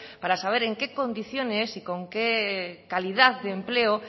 para saber en qué condiciones y con qué calidad de empleo